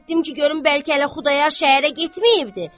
Getdim ki, görüm bəlkə hələ Xudayar şəhərə getməyibdir.